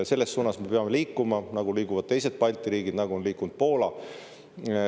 Selles suunas me peame liikuma, nagu liiguvad teised Balti riigid, nagu on liikunud Poola.